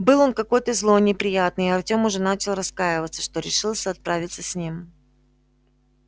был он какой-то злой неприятный и артем уже начал раскаиваться что решился отправиться с ним